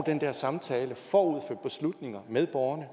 den der samtale med borgerne